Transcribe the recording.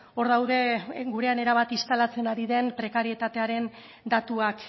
hor daude gurean erabat instalatzen ari den prekarietatearen datuak